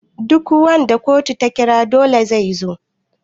duk wanda kotu ta kira dole ya zo